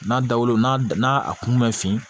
N'a dawulo n'a kun ma fin